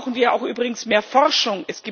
Dazu brauchen wir auch übrigens mehr Forschung.